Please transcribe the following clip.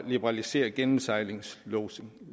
liberalisere gennemsejlingslodsning